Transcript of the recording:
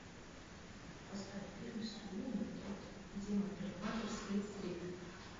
поставь фильм суини тодд демон парикмахер с флит стрит